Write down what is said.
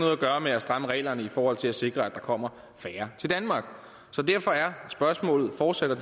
at gøre med at stramme reglerne i forhold til at sikre at der kommer færre til danmark så derfor er spørgsmålet fortsat og